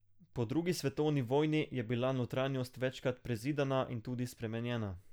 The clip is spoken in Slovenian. Po drugi svetovni vojni je bila notranjost večkrat prezidana in tudi spremenjena.